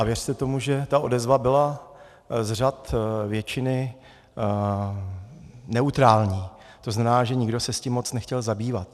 A věřte tomu, že ta odezva byla z řad většiny neutrální, to znamená, že nikdo se s tím moc nechtěl zabývat.